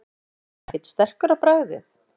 Hugrún: Er hann ekkert sterkur á bragðið?